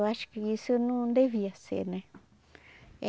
Eu acho que isso não devia ser, né?